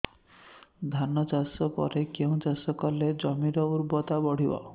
ଧାନ ଚାଷ ପରେ କେଉଁ ଚାଷ କଲେ ଜମିର ଉର୍ବରତା ବଢିବ